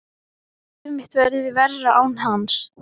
Að líf mitt verði verra án hans.